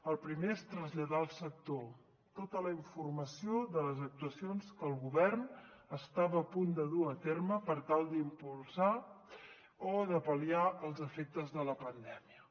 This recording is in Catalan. el primer és traslladar al sector tota la informació de les actuacions que el govern estava a punt de dur a terme per tal d’impulsar o de pal·liar els efectes de la pandèmia